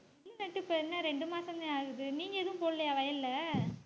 நெல் நட்டு இப்ப என்ன ரெண்டு மாசம்தான் ஆகுது நீங்க எதுவும் போடலியா வயல்ல